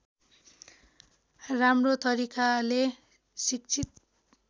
राम्रो तरिकाले शिक्षित